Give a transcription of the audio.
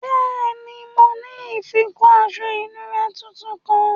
Bẹẹni, mo ni ifikọ̀ aṣọ̀ ìnùra tuntun kan.